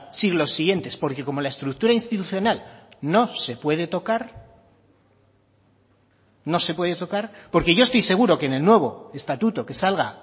siglos siguientes porque como la estructura institucional no se puede tocar no se puede tocar porque yo estoy seguro que en el nuevo estatuto que salga